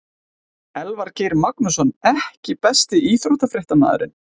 Elvar Geir Magnússon EKKI besti íþróttafréttamaðurinn?